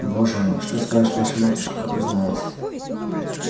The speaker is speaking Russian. боже мой что скажет ваша матушка как узнает